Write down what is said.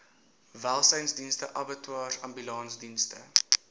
welsynsdienste abattoirs ambulansdienste